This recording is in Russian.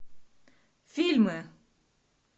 фильмы